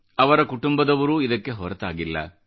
ಅವರ ಕುಟುಂಬದವರೂ ಇದಕ್ಕೆ ಹೊರತಾಗಿಲ್ಲ